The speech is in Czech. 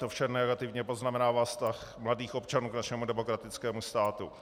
To vše negativně poznamenává vztah mladých občanů k našemu demokratickému státu.